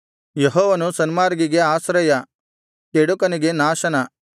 ಯೆಹೋವನು ಸನ್ಮಾರ್ಗಿಗೆ ಆಶ್ರಯ ಕೆಡುಕನಿಗೆ ನಾಶನ